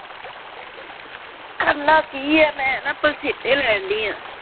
ਕਰਨਾ ਕੀ ਆ ਮੈਂ ਨਾ ਪਸੀਨੇ ਲੈਣ ਦੀ ਆਂ।